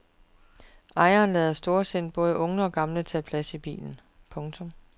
Ejeren lader storsindet både unge og gamle tage plads i bilen. punktum